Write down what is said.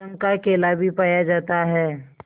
रंग का केला भी पाया जाता है